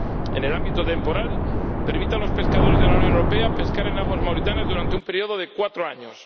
En el ámbito temporal, permite a los pescadores de la Unión Europea pescar en aguas mauritanas durante un periodo de cuatro años